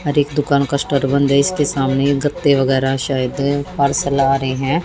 हर एक दुकान का सेटर बंद है इसके सामने गत्ते वगैरा शायद पार्सल आ रहे हैं।